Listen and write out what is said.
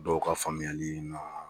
Dɔw ka faamuyali